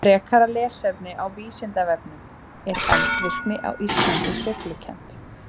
Frekara lesefni á Vísindavefnum: Er eldvirkni á Íslandi sveiflukennd?